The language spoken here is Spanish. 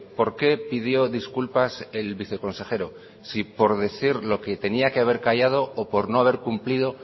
por qué pidió disculpas el viceconsejero si por decir lo que tenía que haber callado o por no haber cumplido